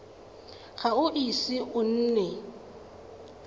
ga o ise o nne